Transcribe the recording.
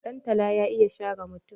Dantala ya iya share mutum.